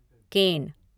केन